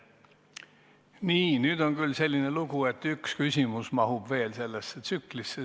Nii, nüüd on küll selline lugu, et vaid üks küsimus mahub veel sellesse tsüklisse.